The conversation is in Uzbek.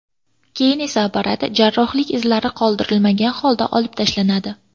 Keyin esa apparat jarrohlik izlari qoldirilmagan holda olib tashlanadi.